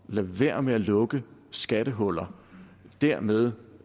være med at lukke skattehuller dermed